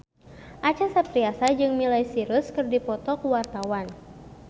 Acha Septriasa jeung Miley Cyrus keur dipoto ku wartawan